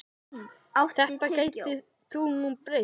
Þetta gæti nú breyst.